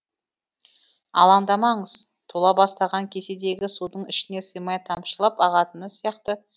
алаңдамаңыз тола бастаған кеседегі судың ішіне сыймай тамшылап ағатыны сияқты